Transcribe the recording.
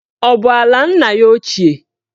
Ọ bụ ala nna ya ochie?